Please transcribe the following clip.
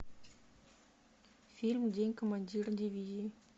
фильм день командира дивизии